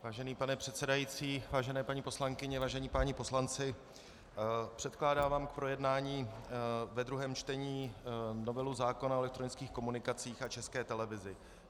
Vážený pane předsedající, vážené paní poslankyně, vážení páni poslanci, předkládám vám k projednání ve druhém čtení novelu zákona o elektronických komunikacích a České televizi.